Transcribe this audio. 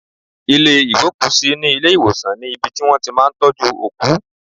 Ilé ìgbókùsí ní ilé ìwòsàn ni ibi tí wón ti máa ń tọ́jú òkú.